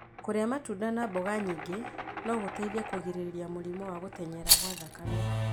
Kũrĩa matunda na mboga nyingĩ no gũteithie kũgirĩrĩria mũrimũ wa gũtenyera gwa thakame.